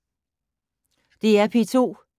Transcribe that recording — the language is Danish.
DR P2